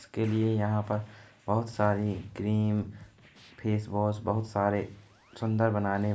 इसके लिए यहाँ पर बहुत सारी क्रीम फेसवॉश बहुत सारे सुन्दर बनाने --